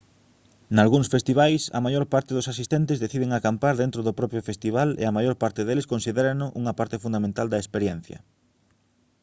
nalgúns festivais a maior parte dos asistentes deciden acampar dentro do propio festival e a maior parte deles considérano unha parte fundamental da experiencia